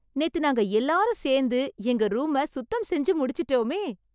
நேத்து நாங்க எல்லாரும் சேர்ந்து, எங்க ரூம சுத்தம் செஞ்சு முடிச்சிட்டோமே.